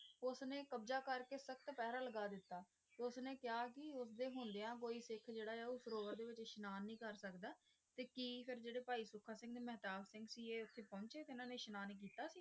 ਉਸਨੇ ਕਬਜ਼ਾ ਕਰਕੇ ਸਖਤ ਪਹਿਰਾ ਲਗਾ ਦਿੱਤਾ। ਉਸਨੇ ਕਿਹਾ ਕਿ ਉਸਦੇ ਹੁੰਦਿਆਂ ਕੋਈ ਸਿੱਖ ਜਿਹੜਾ ਆ ਉਹ ਸਰੋਵਰ ਵਿਚ ਇਸਨਾਨ ਨਹੀਂ ਕਰ ਸਕਦਾ ਤੇ ਕੀ ਫਿਰ ਜਿਹੜੇ ਭਾਈ ਸੁੱਖਾ ਸਿੰਘ ਤੇ ਮਹਿਤਾਬ ਸਿੰਘ ਸੀ ਇਹ ਉੱਥੇ ਪਹੁੰਚੇ ਤੇ ਇੰਨਾ ਨੇ ਇਸਨਾਨ ਕੀਤਾ ਸੀ?